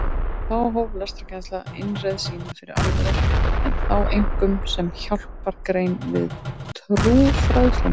Þá hóf lestrarkennsla innreið sína fyrir alvöru en þá einkum sem hjálpargrein við trúfræðsluna.